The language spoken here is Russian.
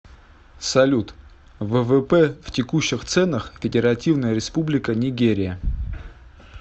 салют ввп в текущих ценах федеративная республика нигерия